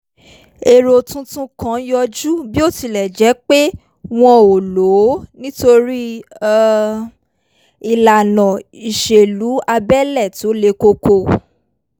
èrò tuntun kan yọjú bí ó tilẹ̀ jẹ́ pé wọn ò lò ó nítorí um ìlànà ìṣèlú abẹ́lé tó le koko